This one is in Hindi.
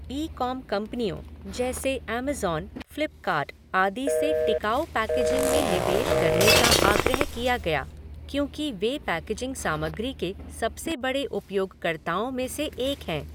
ई कॉम कंपनियों जैसे अमेज़ॅन, फ़्लिपकार्ट आदि से टिकाऊ पैकेजिंग में निवेश करने का आग्रह किया गया क्योंकि वे पैकेजिंग सामग्री के सबसे बड़े उपयोगकर्ताओं में से एक हैं।